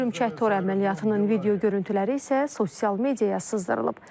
Hörümçək tor əməliyyatının video görüntüləri isə sosial mediaya sızdırılıb.